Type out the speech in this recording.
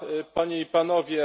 Panie i Panowie!